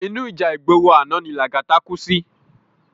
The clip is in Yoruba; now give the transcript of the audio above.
Inú íjà igbóró àná ni Lagata kú si